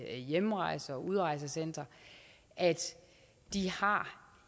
hjemrejse og udrejsecentre har